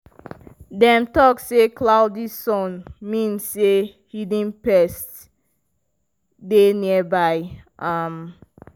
dem talk say cloudy sun mean say hidden pests dey nearby. um